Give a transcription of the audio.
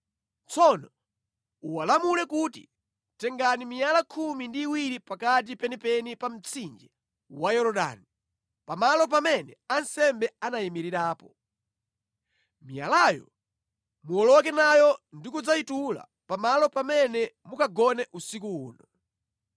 Tsono uwalamule kuti, ‘Tengani miyala khumi ndi iwiri pakati penipeni pa mtsinje wa Yorodani, pamalo pamene ansembe anayimirirapo. Miyalayo muwoloke nayo ndi kudzayitula pamalo pamene mukagone usiku uno.’ ”